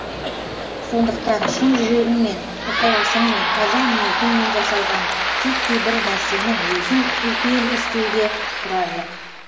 сондықтан шын жүрегіңмен ықыласыңмен таза ниетіңмен жасалған титтей бір нарсенің өзің үлкен іс деуге тұрарлық